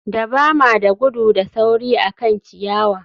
Dabama da gudu da sauri akan ciyawa